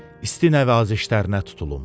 İsti nəvazişlərinə tutulum.